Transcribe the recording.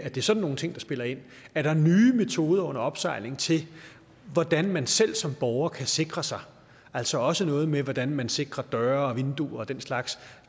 er det sådan nogle ting der spiller ind er der nye metoder under opsejling til hvordan man selv som borger kan sikre sig altså også noget med hvordan man sikrer døre og vinduer og den slags